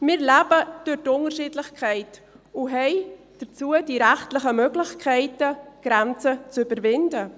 Wir leben durch die Unterschiedlichkeit und haben dazu die rechtlichen Möglichkeiten, Grenzen zu überwinden.